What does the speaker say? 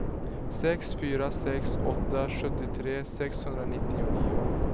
sex fyra sex åtta sjuttiotre sexhundranittionio